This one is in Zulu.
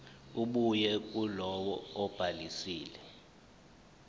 ebuya kulowo obhalisile